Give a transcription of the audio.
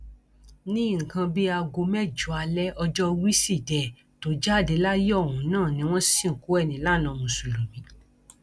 ní nǹkan bíi aago mẹjọ alẹ ọjọ wíṣídẹẹ tó jáde láyé ohun náà ni wọn sìnkú ẹ nílànà mùsùlùmí